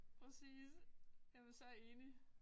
Præcis jamen så enig